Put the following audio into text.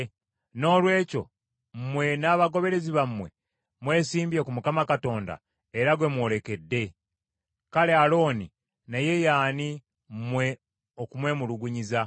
Noolwekyo mmwe n’abagoberezi bammwe, mwesimbye ku Mukama Katonda, era gwe mwolekedde. Kale Alooni naye ye ani, mmwe okumwemulugunyiza?”